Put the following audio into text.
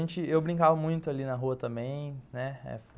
Então, eu brincava muito ali na rua também.